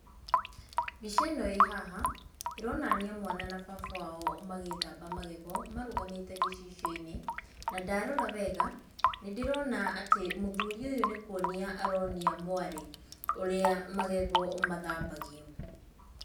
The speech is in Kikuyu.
Mbica ĩno ĩ haha, ĩronania mwana na baba wao magĩthamba magego marũgamĩte gĩcicio-inĩ, na ndarora wega nĩ ndĩrona atĩ mũthuri ũyũ nĩ kwonia aronia mwarĩ ũrĩa magego mathambagio.